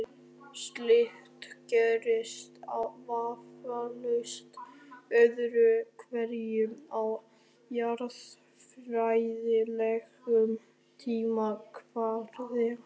Slíkt gerist vafalaust öðru hverju á jarðfræðilegum tímakvarða.